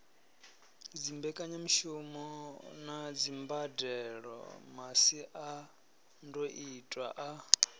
dzimbekanyamushumo na dzimbadelo masiandoitwa a